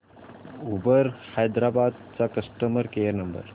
Uber Hyderabad चा customer care number